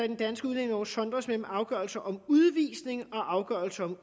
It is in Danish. den danske udlændingelov sondres mellem afgørelse om udvisning og afgørelse om